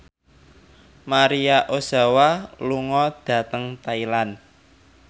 Maria Ozawa lunga dhateng Thailand